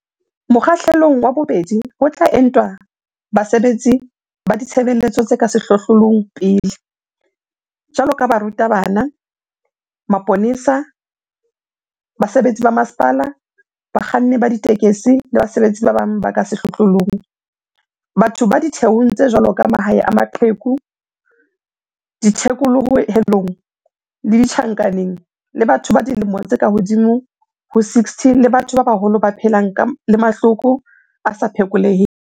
Mokgahlelong wa bobedi ho tla entwa basebetsi ba ditshebeletso tse ka sehlohlolong pele, jwalo ka baruta bana, maponesa, basebetsi ba masepala, bakganni ba ditekesi le basebetsi ba bang ba ka sehlohlolong, batho ba ditheong tse jwalo ka mahae a maqheku, dithekolohelong le ditjhankaneng, le batho ba dilemo tse ka hodimo ho 60 le batho ba baholo ba phelang le mahloko a sa phekoleheng.